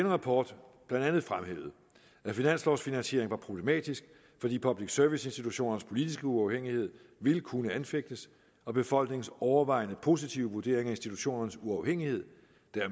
rapport blandt andet fremhævet at finanslovfinansiering var problematisk fordi public service institutionernes politiske uafhængighed ville kunne anfægtes og befolkningens overvejende positive vurdering af institutionernes uafhængighed